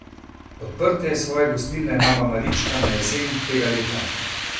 Odprtje svoje gostilne Mama Marička na jesen tega leta!